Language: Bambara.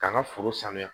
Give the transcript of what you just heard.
K'an ka foro saniya